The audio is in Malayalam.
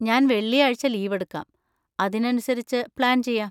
ഞാൻ വെള്ളിയാഴ്ച ലീവെടുക്കാം, അതിനനുസരിച്ച് പ്ലാൻ ചെയ്യാം.